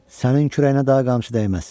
Sənin kürəyinə daha qamçı dəyməz.